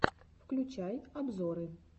включай обзоры